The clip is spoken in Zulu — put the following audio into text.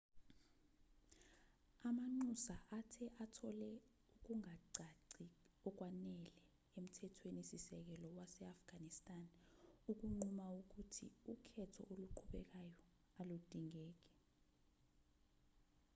amanxusa athe athole ukungacaci okwanele emthethweni-sisekelo wase-afghanistan ukunquma ukuthi ukhetho oluqhubekayo aludingeki